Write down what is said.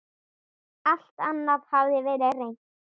Alt annað hafði verið reynt.